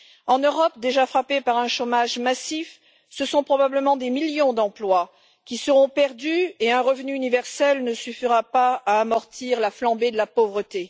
En Europe, déjà frappée par un chômage massif, ce sont probablement des millions d'emplois qui seront perdus et un revenu universel ne suffira pas à amortir la flambée de la pauvreté.